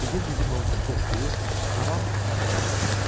Didim-didim olmuş döşlüyü tamam çağıra bulanmışdı.